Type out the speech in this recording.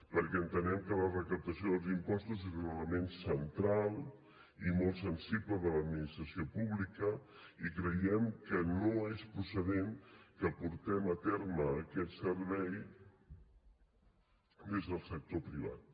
perquè entenem que la recaptació dels impostos és un element central i molt sensible de l’administració pública i creiem que no és procedent que portem a terme aquest servei des del sector privat